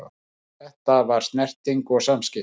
Þetta var snerting og samskipti.